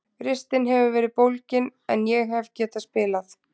Ristin hefur verið bólgin en ég hef getað spilað.